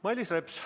Mailis Reps, palun!